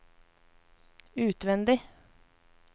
utvendig